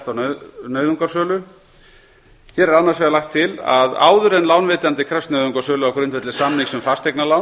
á nauðungarsölu hér er annars vegar lagt til að áður en lánveitandi krefst nauðungarsölu á grundvelli samnings um fasteignalán